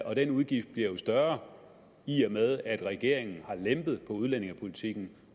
og den udgift bliver jo større i og med at regeringen har lempet på udlændingepolitikken